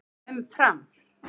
Um Fram: